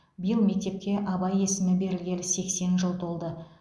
биыл мектепке абай есімі берілгелі сексен жыл толды